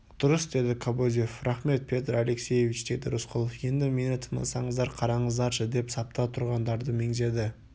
дұрыс деді кобозев рақмет петр алексеевич деді рысқұлов енді мені тыңдасаңыздар қараңыздаршы деп сапта тұрғандарды меңзеді